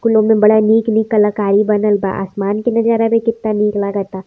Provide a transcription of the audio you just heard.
कुल ओमे बड़ा निक निक कलाकारी बनल बा। आसमान के नज़ारा भी केतना निक लागता।